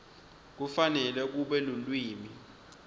kufanele kube lulwimi